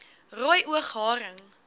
rooi oog haring